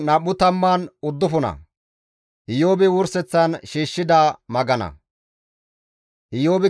Iyoobikka ba haasaya sinth gujjidi hizgides;